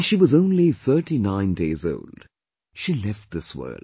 When she was only thirty nine days old, she left this world